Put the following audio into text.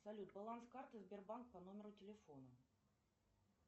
салют баланс карты сбербанк по номеру телефона